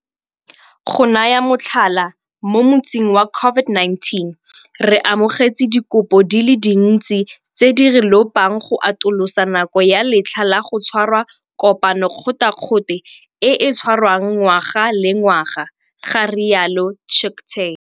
Go naya motlhala, mo motsing wa COVID-19 re amogetse dikopo di le dintsi tse di re lopang go atolosa nako ya letlha la go tshwara kopano kgothakgothe e e tshwarwang ngwaga le ngwaga, ga rialo Chicktay.